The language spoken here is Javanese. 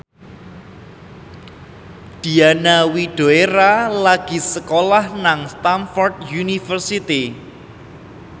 Diana Widoera lagi sekolah nang Stamford University